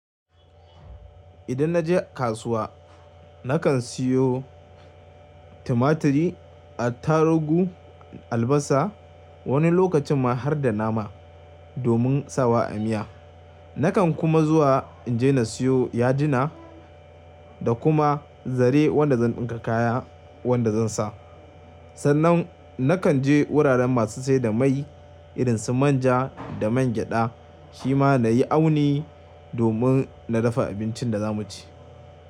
Idan na je kasuwa nakan siyo tumaturi, attarugu, albasa wani lokacin ma har da nama domin sawa a miya. Nakan kuma zuwa in je na siyo ya dina da kuma zare wanda zan ɗinka kaya wanda zan sa. Sannan nakan je wuraren masu siyar da mai irin su manja da man gyada shima na yi auni domin na dafa abincin da za mu ci.